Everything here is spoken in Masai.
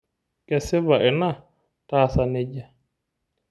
Kesipa ina taasa nijia.